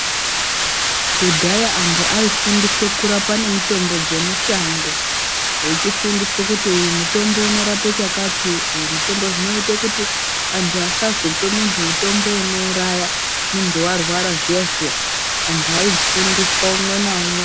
Kudhaya antu aifundiswa kurapa nemutombo dzemushango vechifundiswa kuti, uyu mutombo unorape chakati, uyu mutombo zvinoite kuti antu asazope muntu mutombo unouraya muntu varwara zviya-zviya. Antu aifundiswa umwe naumwe.